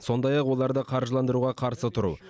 сондай ақ оларды қаржыландыруға қарсы тұру